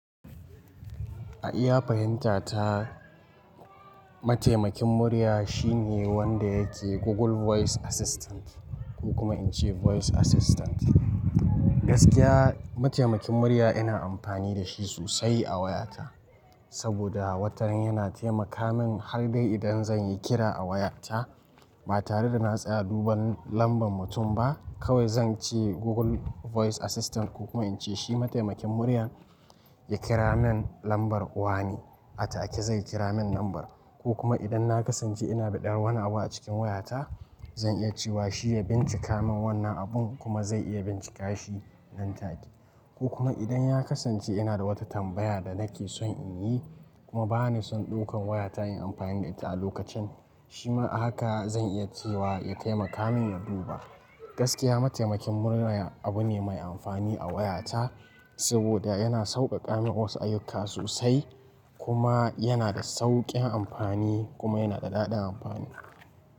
A iya fahimta ta mataimakin murya shine wanda yake Google Voice Assistant ko kuma in ce Voice Assistant. Gaskiya mataimakin murya ina amfani da shi sosai a wayata saboda watannnan yana taimaka min har dai idan zan yi kira a wayata. Ba tare da na tsaya duba lambar mutum ba kawai zan ce Google Voice Assistant ko kuma in ce shi mataimakin muryan ya kira min lambar uwani a take zai kira min lambar. Ko kuma idan na kasance ina da ɗan wani abu a cikin wayata zan iya cewa shi ya bincika min wannan abun kuma zai iya bincika shi nan take. Ko kuma idan ya kasance ina da wata tambaya da nake son in yi kuma ba ni son ɗaukan wayata in amfani da ita a lokacin shi ma haka zan iya cewa ya taimaka min ya duba. Gaskiya mataimakin murya abu ne mai amfani a wayata saboda yana sauƙaƙa min wasu ayyuka sosai kuma yana da sauƙin amfani kuma yana da daɗin amfani.